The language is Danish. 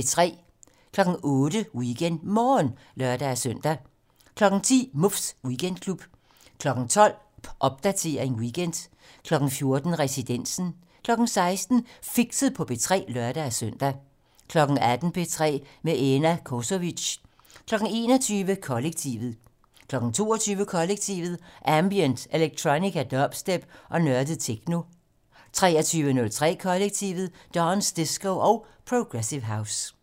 08:00: WeekendMorgen (lør-søn) 10:00: Muffs Weekendklub 12:00: Popdatering weekend 14:00: Residensen 16:00: Fixet på P3 (lør-søn) 18:00: P3 med Ena Cosovic 21:00: Kollektivet 22:00: Kollektivet: Ambient, electronica, dubstep og nørdet techno 23:03: Kollektivet: Dance, disco og progressive house